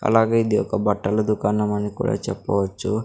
అలాగే ఇది ఒక బట్టల దుకాణం అని కూడా చెప్పవచ్చు.